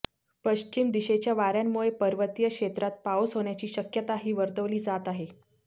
पश्चिम दिशेच्या वाऱ्यांमुळे पर्वतीय क्षेत्रात पाऊस होण्याची शक्यताही वर्तवली जात आहे